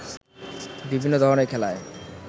বিভিন্ন ধরণের খেলায়